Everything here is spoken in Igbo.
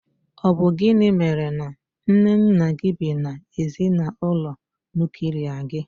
Ọ bụ gịnị mèrè na nné nna gị bị na ezinaụlọ nuklia gi?